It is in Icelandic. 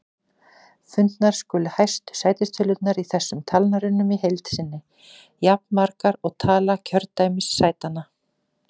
Fundnar skulu hæstu sætistölurnar í þessum talnarunum í heild sinni, jafnmargar og tala kjördæmissætanna.